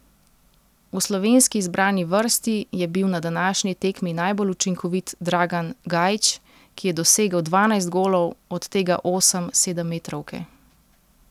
V slovenski izbrani vrsti je bil na današnji tekmi najbolj učinkovit Dragan Gajić, ki je dosegel dvanajst golov, od tega osem s sedemmetrovke.